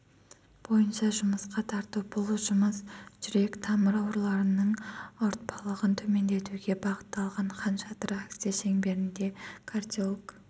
бойынша жұмысқа тарту бұл жұмыс жүрек-тамыр ауруларының ауыртпалығын төмендетуге бағытталған хан шатыр акция шеңберінде кардиолог